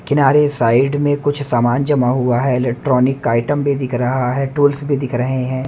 किनारे साइड में कुछ सामान जमा हुआ है इलेक्ट्रॉनिक का आइटम भी दिख रहा है टूल्स भी दिख रहे हैं।